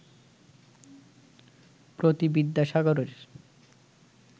প্রতি বিদ্যাসাগরের